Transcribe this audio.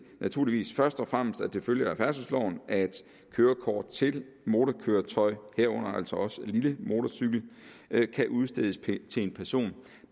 naturligvis først og fremmest at det følger af færdselsloven at kørekort til motorkøretøjer herunder altså også lille motorcykel kan udstedes til en person